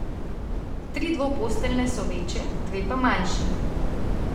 Tri dvoposteljne so večje, dve pa manjši.